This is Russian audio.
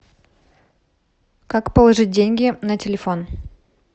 как положить деньги на телефон